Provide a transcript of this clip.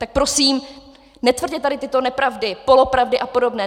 Tak prosím, netvrďte tady tyto nepravdy, polopravdy a podobné.